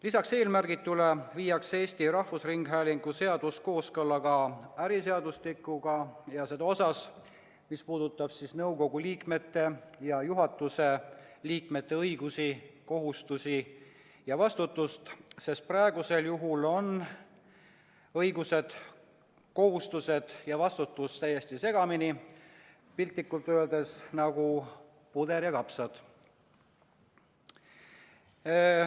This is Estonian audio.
Lisaks eelmärgitule viiakse Eesti Rahvusringhäälingu seadus kooskõlla äriseadustikuga ja seda osas, mis puudutab nõukogu ja juhatuse liikmete õigusi, kohustusi ja vastutust, sest praegusel juhul on õigused, kohustused ja vastutus täiesti segamini, piltlikult öeldes nagu puder ja kapsad.